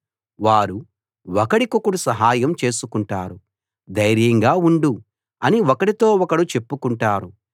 వారు ఒకడికొకడు సహాయం చేసుకుంటారు ధైర్యంగా ఉండు అని ఒకడితో ఒకడు చెప్పుకుంటారు